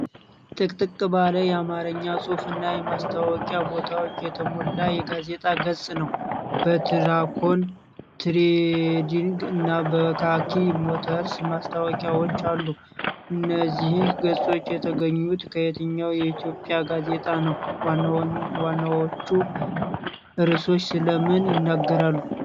ጥቅጥቅ ባለ የአማርኛ ጽሑፍ እና የማስታወቂያ ቦታዎች የተሞላ የጋዜጣ ገጽ ነው። በትራኮን ትሬዲንግ እና በካኪ ሞተርስ ማስታወቂያዎች አሉ። እነዚህ ገጾች የተገኙት ከየትኛው የኢትዮጵያ ጋዜጣ ነው? ዋናዎቹ ርዕሶች ስለ ምን ይናገራሉ?